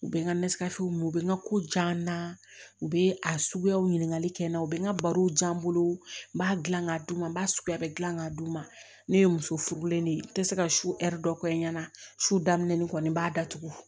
U bɛ n ka u bɛ n ka ko diya n na u bɛ a suguyaw ɲininkali kɛ n na u bɛ n ka baro di yan n bolo n b'a dilan k'a d'u ma n b'a suguya bɛ dilan k'a d'u ma ne ye muso furulen de ye n tɛ se ka su dɔ kɛ n ɲɛna su daminɛ ni kɔni n b'a datugu